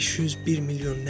501 milyon nə?